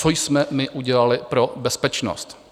Co jsme my udělali pro bezpečnost?